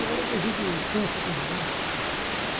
O pior é que a gente cansa também, né gente?